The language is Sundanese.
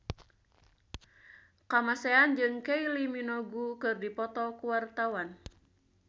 Kamasean jeung Kylie Minogue keur dipoto ku wartawan